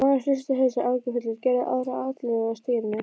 Maðurinn hristi hausinn áhyggjufullur og gerði aðra atlögu að stýrinu.